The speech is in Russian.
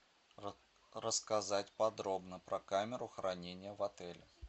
рассказать подробно про камеру хранения в отеле